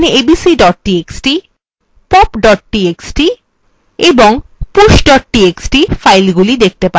আপনি abc pop এবং push txt filesগুলি দেখতে পাচ্ছেন